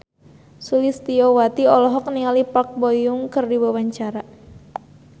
Sulistyowati olohok ningali Park Bo Yung keur diwawancara